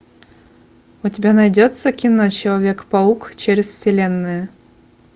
у тебя найдется кино человек паук через вселенную